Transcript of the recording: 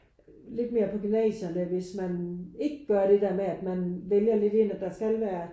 Lidt mere på gymnasierne hvis man ikke gør det der med at man vælger lidt ind at der skal være